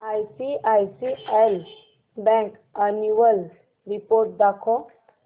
ICICI bank annual report दाखव